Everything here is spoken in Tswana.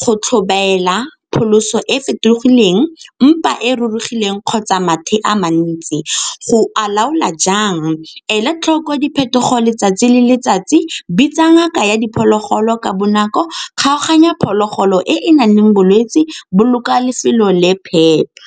go tlhobaela, pholoso e fetogileng, mpa e e rurugileng kgotsa mathe a mantsi. Go alaola jang? E la tlhoko ya diphetogo letsatsi le letsatsi, bitsa ngaka ya diphologolo ka bonako, kgaoganya phologolo e e nang le bolwetse, boloka lefelo le phepa.